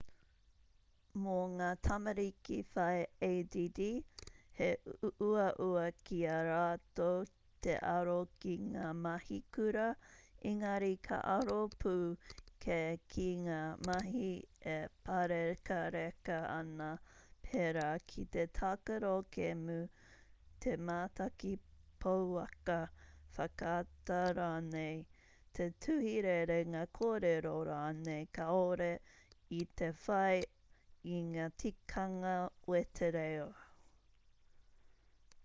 mō ngā tamariki whai add he uaua ki a rātou te aro ki ngā mahi kura engari ka aro pū kē ki ngā mahi e pārekareka ana pērā ki te tākaro kēmu te mātaki pouaka whakaata rānei te tuhi rerenga kōrero rānei kāore i te whai i ngā tikanga wetereo